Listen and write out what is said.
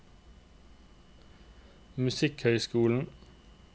musikkhøyskolen